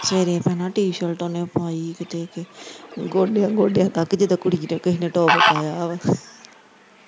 ਸਵੇਰੇ ਭੈਣਾਂ T shirt ਓਨੇ ਪਾਈ ਕਿਤੇ ਕਿ ਗੋਡਿਆ ਗੋਡਿਆ ਤੱਕ ਜਿਦਾ ਕੁੜੀ ਦਾ ਕਿਹੇ ਨੇ ਟੋਪ ਪਾਇਆ ਵਾ।